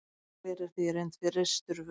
gler er því í reynd frystur vökvi